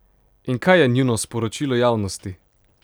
In kaj je njuno sporočilo javnosti?